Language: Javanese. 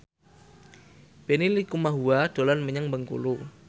Benny Likumahua dolan menyang Bengkulu